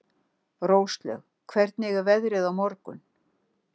Róslaug, hvernig er veðrið á morgun?